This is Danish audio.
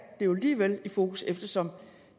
jo alligevel i fokus eftersom